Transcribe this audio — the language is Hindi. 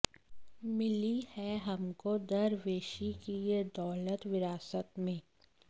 मिली है हमको दरवेशी की ये दौलत विरासत में